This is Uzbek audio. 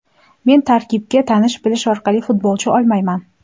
Men tarkibga tanish-bilish orqali futbolchi olmayman.